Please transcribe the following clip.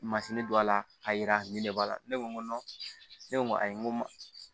Masini don a la k'a yira nin de b'a la ne ko ne ko ayi n ko n ma